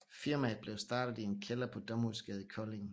Firmaet blev startet i en kælder på Domhusgade i Kolding